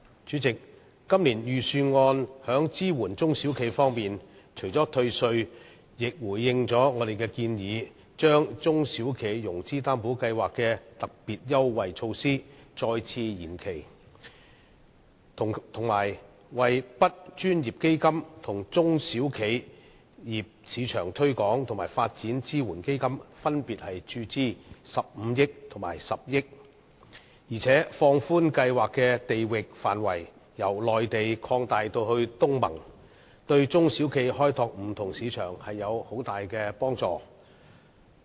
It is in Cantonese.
主席，今年的財政預算案在支援中小企方面除了退稅外，亦回應了我們的建議，把中小企融資擔保計劃的特別優惠措施再次延期，以及向 BUD 專項基金和中小企業市場推廣和發展支援基金分別注資15億元和10億元，並放寬計劃的地域範圍，由內地擴大至東盟，這對中小企開拓不同市場有很大幫助。